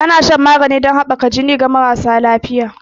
Ana shan maganin jini ɗomin haɓaka jini ga marasa lafiƴa.